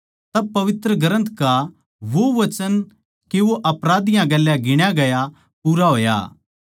तब पवित्र ग्रन्थ का वो वचन के वो आपराधियाँ गेल्या गिण्या गया पूरा होया